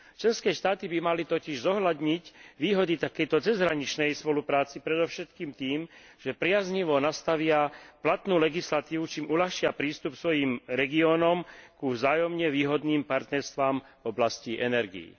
Členské štáty by mali totiž zohľadniť výhody takejto cezhraničnej spolupráce predovšetkým tým, že priaznivo nastavia platnú legislatívu, čím uľahčia prístup svojim regiónom ku vzájomne výhodným partnerstvám v oblasti energií.